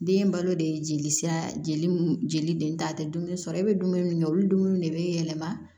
Den balo de ye jelisira jeli jeli den ta tɛ dumuni sɔrɔ e bɛ dumuni min kɛ olu dumuni de bɛ yɛlɛma